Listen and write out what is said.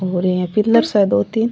और यहाँ पिलर से दो तीन --